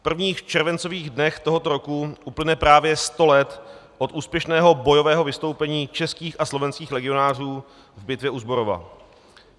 V prvních červencových dnech tohoto roku uplyne právě 100 let od úspěšného bojového vystoupení českých a slovenských legionářů v bitvě u Zborova.